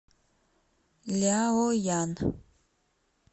ляоян